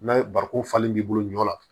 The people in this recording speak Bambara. N'a ye barikon falen b'i bolo ɲɔ na